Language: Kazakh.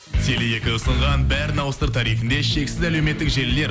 теле екі ұсынған бәрін ауыстыр тарифінде шексіз әлеуметтік желілер